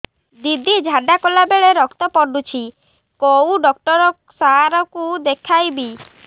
ଦିଦି ଝାଡ଼ା କଲା ବେଳେ ରକ୍ତ ପଡୁଛି କଉଁ ଡକ୍ଟର ସାର କୁ ଦଖାଇବି